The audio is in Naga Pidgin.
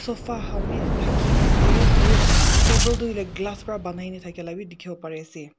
sofa khan bbhi thaki ne ase aru table Tu hoile glass pa banai ne thake lah bhi dikhibo pari ase.